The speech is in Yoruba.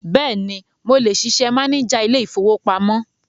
Bẹ́ẹ̀ni, mo lè ṣiṣẹ́ máníjà ilé-ìfowópamọ́.